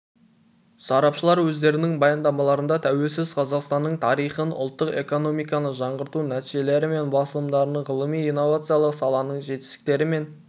сарапшылар өздерінің баяндамаларында тәуелсіз қазақстанның тарихын ұлттық экономиканы жаңғырту нәтижелері мен басымдықтарын ғылыми-инновациялық саланың жетістіктері мен